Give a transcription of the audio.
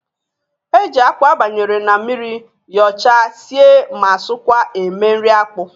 E ji akpụ abanyere n'mmiri, yọọcha, sie ma sọọkwa eme nri akpụ.